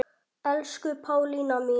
Elsku Pálína mín.